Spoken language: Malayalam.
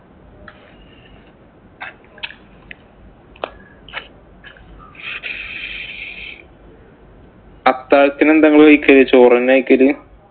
അത്താഴത്തിന് എന്താ നിങ്ങള് കഴിക്കല്. ചോറ് തന്നെയാ കഴിക്കല്.